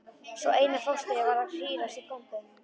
Svo Einar fóstri varð að hírast í kompum.